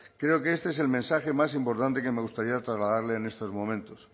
creo que este es el mensaje más importante que me gustaría trasladarle en estos momentos